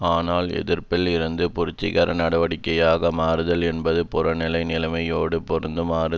ஆனால் எதிர்ப்பில் இருந்து புரட்சிகர நடவடிக்கையாக மாறுதல் என்பது புறநிலை நிலைமையோடு பொருந்துமாறு